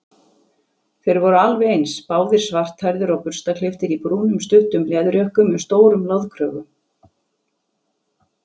Þeir voru alveg eins, báðir svarthærðir og burstaklipptir í brúnum stuttum leðurjökkum með stórum loðkrögum.